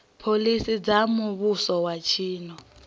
phoḽisi dza muvhuso wa tshino